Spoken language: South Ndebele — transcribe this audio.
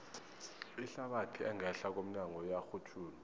ihlabathi engehla komnyago iyarhutjhulwa